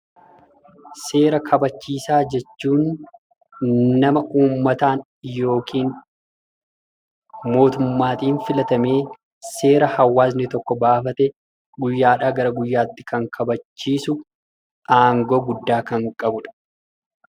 Seera kabachiisaa jechuun nama uummmataan yookiin mootummaatiin filatamee seera hawaasni tokko baafate guyyaadhaa gara guyyaatti kan kabachiisu, aangoo guddaa kan qabudha.